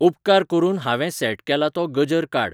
उपकार करून हांवे सेट केला तो गजर काड